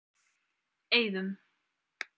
Eiðum